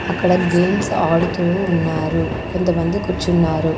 అక్కడ గేమ్స్ ఆడుతూ ఉన్నారు కొంతమంది కూర్చున్నారు.